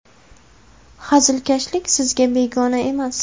Hazilkashlik sizga begona emas.